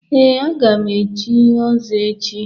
Ee, aga m echi ọzọ echi.